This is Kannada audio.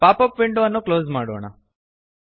ಪಾಪಪ್ ವಿಂಡೋ ಅನ್ನು ಕ್ಲೋಸ್ ಮಾಡೋಣ